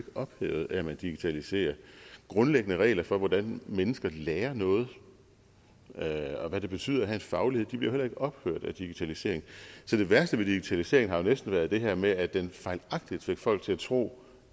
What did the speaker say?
ophævet af at man digitaliserer grundlæggende regler for hvordan mennesker lærer noget og hvad det betyder at have en faglighed bliver jo heller ikke ophævet af digitaliseringen så det værste ved digitaliseringen har jo næsten været det her med at den fejlagtigt fik folk til at tro